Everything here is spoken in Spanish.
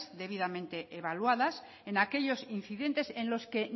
debidamente evaluadas en aquellos incidentes en los que